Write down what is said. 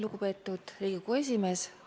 Lugupeetud Riigikogu esimees!